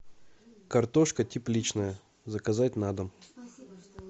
картошка тепличная заказать на дом